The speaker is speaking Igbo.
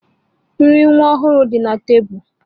Nri nwa ọhụrụ dị na tebụl